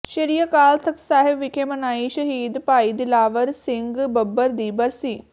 ਸ੍ਰੀ ਅਕਾਲ ਤਖ਼ਤ ਸਾਹਿਬ ਵਿਖੇ ਮਨਾਈ ਸ਼ਹੀਦ ਭਾਈ ਦਿਲਾਵਰ ਸਿੰਘ ਬੱਬਰ ਦੀ ਬਰਸੀ